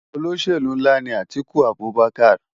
Ólóṣélú nlá ni Atiku Abubaker